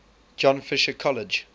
john fisher college